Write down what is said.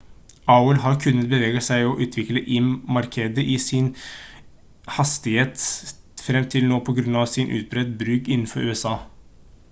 aol har kunnet bevege seg og utvikle im-markedet i sin egen hastighet frem til nå på grunn av sin utbredte bruk innenfor usa